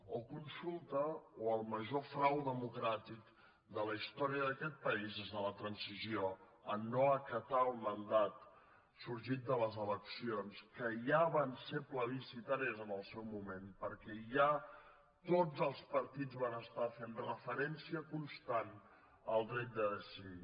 o consulta o el major frau democràtic de la història d’aquest país des de la transició en no acatar el mandat sorgit de les eleccions que ja van ser plebiscitàries en el seu moment perquè ja tots els partits van fer referència constant al dret de decidir